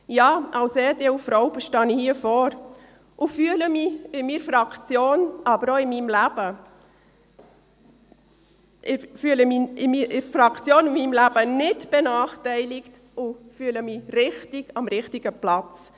Ja, als EDU-Frau stehe ich hier vorne und fühle mich in meiner Fraktion, aber auch in meinem Leben nicht benachteiligt, sondern ich fühle mich richtig, am richtigen Platz.